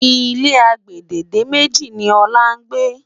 ilé àgbède dé méjì ni òla ngbe